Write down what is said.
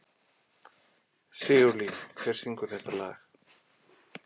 Sigurlín, hver syngur þetta lag?